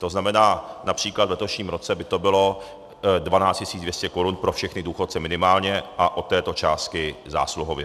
To znamená, například v letošním roce by to bylo 12 200 korun pro všechny důchodce minimálně a od této částky zásluhově.